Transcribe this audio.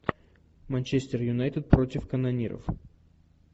манчестер юнайтед против канониров